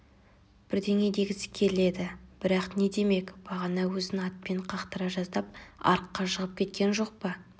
бірдеңе дегісі келеді бірақ не демек бағана өзін атпен қақтыра жаздап арыққа жығып кеткен жоқ па